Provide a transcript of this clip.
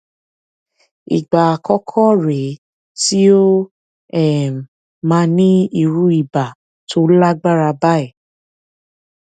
ìgbà àkọkọ rè é tí ó um máa ní irú ibà tó lágbára báyìí